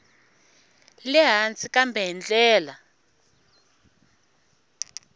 le hansi kambe hi ndlela